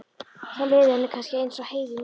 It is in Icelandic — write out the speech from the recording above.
Þá liði henni kannski eins og Heiðu núna.